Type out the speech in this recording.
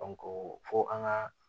fo an ka